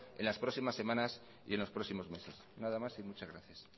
en las próximas semanas y en los próximos meses nada más y muchas gracias